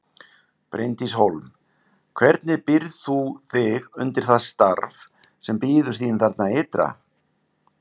Bryndís Hólm: Hvernig býrð þú þig undir það starf sem bíður þín þarna ytra?